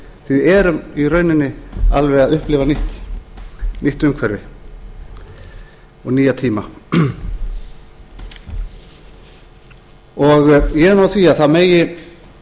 því við erum í rauninni alveg að upplifa nýtt umhverfi og nýja tíma ég er nú á því að það megi